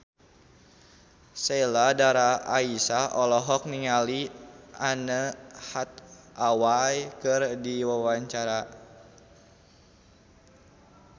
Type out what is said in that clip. Sheila Dara Aisha olohok ningali Anne Hathaway keur diwawancara